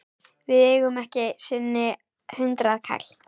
Við eigum ekki einu sinni hundraðkall!